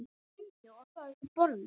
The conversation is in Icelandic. Komdu og fáðu þér bollur.